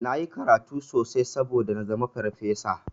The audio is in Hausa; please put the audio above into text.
Nayi karatu sosai saboda nazama farfesa.